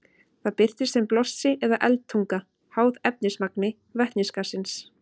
Það birtist sem blossi eða eldtunga, háð efnismagni vetnisgassins.